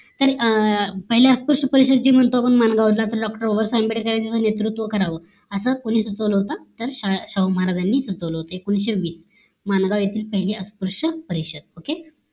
तर पहिले अस्पुर्ष परिषद जी म्हणतो आपण माणगाव ला तर doctor बाबासाहेब आंबेडकर यांनी नेतृत्व करावं अस कोणी सुचवलं होत तर शाहू शाहूमहाराज यांनी सुचवलं होत एकोणीशे वीस. माणगाव येथी पहिली अस्पृश्य परिषद OKAY